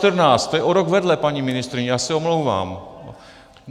To je o rok vedle, paní ministryně, já se omlouvám.